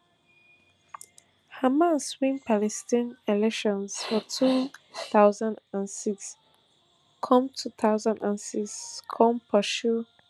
hamas win palestine elections for two thousand and six come two thousand and six come pursue